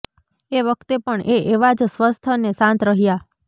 એ વખતે પણ એ એવા જ સ્વસ્થ ને શાંત રહ્યા